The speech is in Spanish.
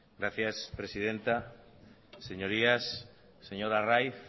gracias presidenta señorías señor arraiz